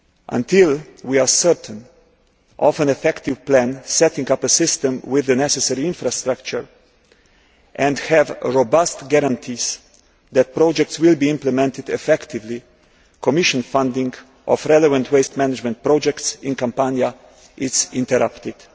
Until we are certain of an effective plan setting up a system with the necessary infrastructure and have robust guarantees that projects will be implemented effectively, Commission funding of relevant waste management projects in Campania is interrupted.